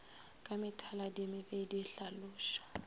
ka methaladi ye mebedi hlaloša